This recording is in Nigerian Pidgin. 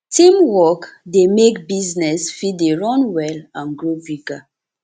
teamwork de make business fit de run well and grow bigger